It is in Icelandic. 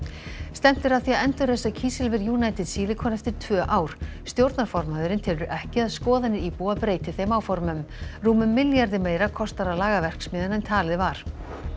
stefnt er að því að endurræsa kísilver United Silicon eftir tvö ár stjórnarformaðurinn telur ekki að skoðanir íbúa breyti þeim áformum rúmum milljarði meira kostar að laga verksmiðjuna en talið var